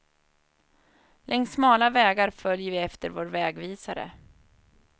Längs smala vägar följer vi efter vår vägvisare.